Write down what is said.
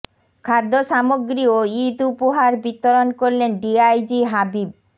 খাদ্য সামগ্রী ও ঈদ উপহার বিতরণ করলেন ডিআইজি হাবিব